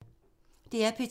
DR P2